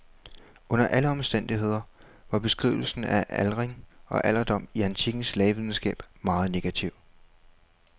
Under alle omstændigheder var beskrivelserne af aldring og alderdom i antikkens lægevidenskab meget negative.